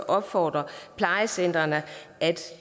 opfordre plejecentrene